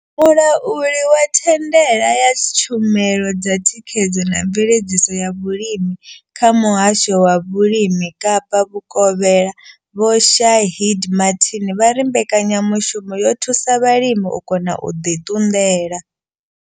Mulauli wa thandela ya tshumelo dza thikhedzo na mveledziso ya vhulimi kha muhasho wa vhulimi Kapa vhukovhela Vho Shaheed Martin vha ri mbekanyamushumo yo thusa vhalimi u kona u ḓi ṱunḓela.